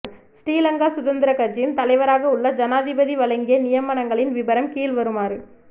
ஸ்ரீ லங்கா சுதந்திரக் கட்சியின் தலைவராக உள்ள ஜனாதிபதி வழங்கிய நியமனங்களின் விபரம் கீழ்வருமாறு